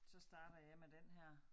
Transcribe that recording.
Så starter jeg med den her